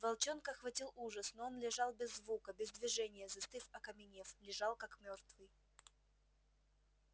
волчонка охватил ужас но он лежал без звука без движения застыв окаменев лежал как мёртвый